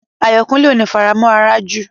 Ayọ̀kúnlé ò ní faramọ̀ àràjù